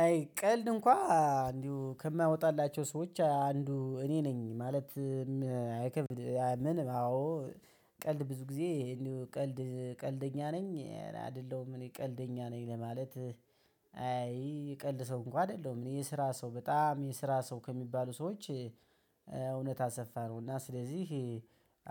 አይ ቀልድ እንኳ እንዲሁ ከማያወጣላቸው ሰዎች አንዱ እኔ ነኝ ማለት አይከብድ። አዎ። ቀልድ ብዙ ጊዜ እንዲሁ ቀልድ ቀልደኛ ነኝ አይደለሁም እኔ ቀልደኛ ነኝ ለማለት። አይ ቀልድ ሰው እንኳን አይደለም እኔ የስራ ሰው በጣም የስራ ሰው ከሚባሉ ሰዎች። እውነት አሰፋ ነው እና ስለዚህ